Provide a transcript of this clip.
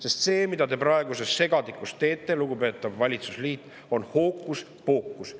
Sest see, mida te praeguses segadikus teete, lugupeetav valitsusliit, on hookuspookus.